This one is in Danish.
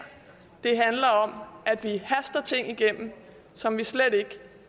det handler om at vi haster ting igennem som vi slet ikke